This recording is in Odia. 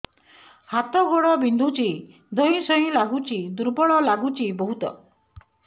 ହାତ ଗୋଡ ବିନ୍ଧୁଛି ଧଇଁସଇଁ ଲାଗୁଚି ଦୁର୍ବଳ ଲାଗୁଚି ବହୁତ